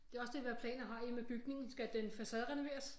Det er også det hvad planer har I med bygningen skal den facaderenoveres